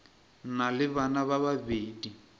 na le bana ba babedi